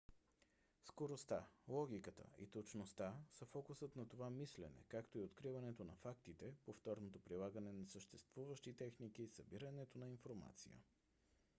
скоростта логиката и точността са фокусът на това мислене както и откриването на фактите повторното прилагане на съществуващи техники събирането на информация